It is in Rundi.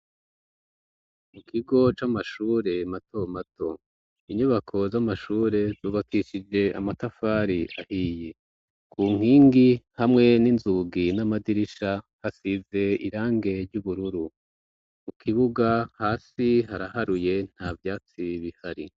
Mu kigo c'amashure mato mato inyubako z'amashure zubakishije amatafari ahiye ku nkingi hamwe n'inzugi n'amadirisha hasize irangi ry'ubururu mu kibuga hasi haraharuye nta vyatsi bihari.